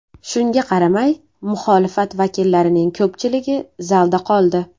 Shunga qaramay, muxolifat vakillarining ko‘pchiligi zalda qoldi.